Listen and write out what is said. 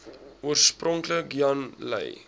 oorspronklik jan lui